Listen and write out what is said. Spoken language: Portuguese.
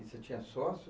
E você tinha sócio?